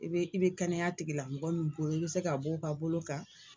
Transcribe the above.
I bɛ i bɛ kɛnɛya tigila mɔgɔ min bolo i bɛ se k'a bɔ o ka bolo kan.